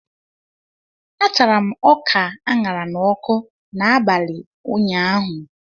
A tara m ọka aṅara n'ọkụ n'abalị ụnyaahụ